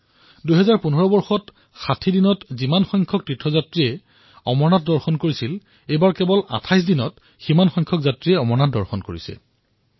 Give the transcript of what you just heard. ২০১৫ চনত সম্পূৰ্ণ ৬০ দিনলৈ চলা এই যাত্ৰাত যিমান তীৰ্থযাত্ৰী আছিল এইবাৰ কেৱল ২৮ দিনতে তাতোকৈ অধিক হৈছে